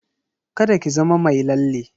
Kada ki zama mai lalle.